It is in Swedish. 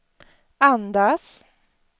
andas